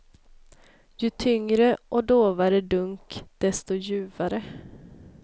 Ju tyngre och dovare dunk, desto ljuvare.